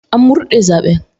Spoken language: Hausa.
An murde zaben.